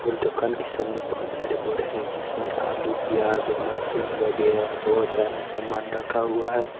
और दोकान के सामने बहुत सारे बोडे है जिस मे आलू प्याज लसुन वगैरह बहुत सारा सामान रखा हुआ है।